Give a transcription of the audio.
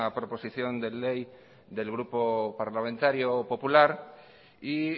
proposición de ley del grupo parlamentario popular y